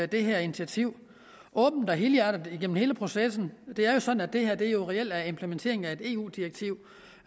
det her initiativ åbent og helhjertet igennem hele processen det er sådan at det her reelt er implementeringen af et eu direktiv